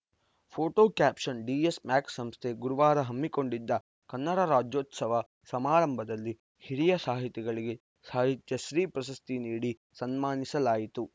photo caption DS Max ಸಂಸ್ಥೆ ಗುರುವಾರ ಹಮ್ಮಿಕೊಂಡಿದ್ದ ಕನ್ನಡ ರಾಜ್ಯೋತ್ಸವ ಸಮಾರಂಭದಲ್ಲಿ ಹಿರಿಯ ಸಾಹಿತಿಗಳಿಗೆ ಸಾಹಿತ್ಯಶ್ರೀ ಪ್ರಶಸ್ತಿ ನೀಡಿ ಸನ್ಮಾನಿಸಲಾಯಿತು